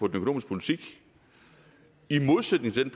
økonomiske politik i modsætning til i